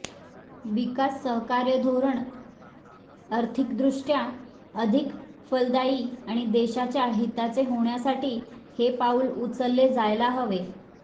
विकास सहकार्य धोरण आर्थिकदृष्ट्या अधिक फलदायी आणि देशाच्या हिताचे होण्यासाठी हे पाऊल उचलले जायला हवे